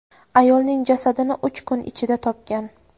ayolning jasadini uch kun ichida topgan.